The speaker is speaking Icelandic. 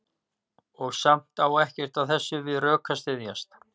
Og samt á ekkert af þessu við rök að styðjast.